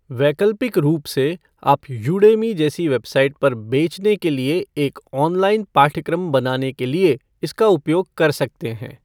वैकल्पिक रूप से, आप यूडेमी जैसी वेबसाइट पर बेचने के लिए एक ऑनलाइन पाठ्यक्रम बनाने के लिए इसका उपयोग कर सकते हैं।